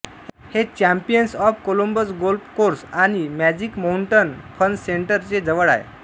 हे champions of Columbus golf course आणि magic mountain fun centre चे जवळ आहे